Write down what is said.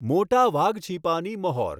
મોટા વાઘછીપાની મહોર